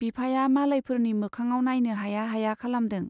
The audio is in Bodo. बिफाया मालायफोरनि मोखाङाव नाइनो हाया हाया खालामदों।